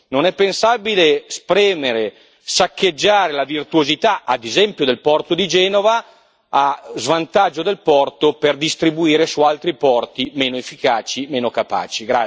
Non è pensabile spremere, saccheggiare la virtuosità, ad esempio del porto di Genova, a svantaggio del porto per distribuire su altri porti meno efficaci, meno capaci.